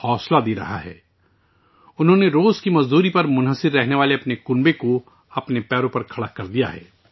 انھوں نے اپنی فیملی کو، جو یومیہ مزدوری پر منحصر ہے، اپنے پیروں پر کھڑا کر دیا ہے